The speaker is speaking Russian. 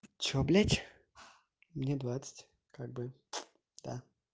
что блядь мне двадцать как бы да